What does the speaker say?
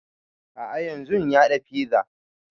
A'a yanzun ya haɗa fiza